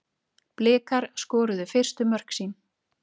Blikar skoruðu fyrstu mörkin sín